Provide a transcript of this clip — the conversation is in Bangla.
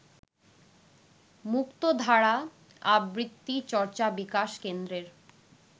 মুক্তধারা আবৃত্তি চর্চা বিকাশ কেন্দ্রের